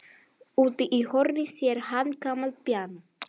Úti í horni sér hann gamalt píanó.